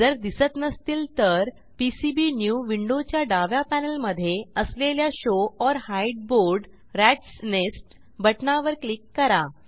जर दिसत नसतील तर पीसीबीन्यू विंडोच्या डाव्या पॅनेलमधे असलेल्या show or hide board ratsnest बटणावर क्लिक करा